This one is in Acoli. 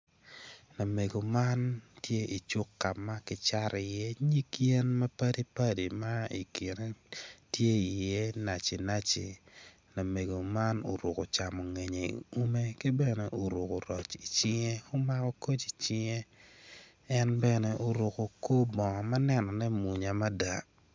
Lamego man tye I cuk ka ma ki Cato itye nyig yen ma padi padi ma ikine tye iye nacinaci lamego man oruku camungeye i use ki bene oruku roc I cinge umako koc icinge en bene oruku kor bongo ma nenone munya mada